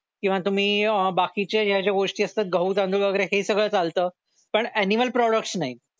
किंवा तुम्ही अह बाकीच्या ज्या ज्या गोष्टी असतात गहू तांदूळ हे सगळं चालतं पण ऍनिमल प्रॉडक्ट्स नाही